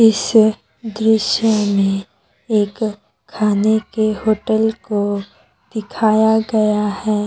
इस दृश्य में एक खाने के होटल को दिखाया गया है।